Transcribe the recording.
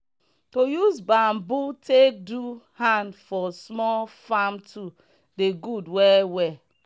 to use bambom take do hand for small farm tools dey good well well.